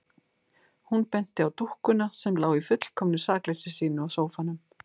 Hún benti á dúkkuna sem lá í fullkomnu sakleysi sínu á sófanum.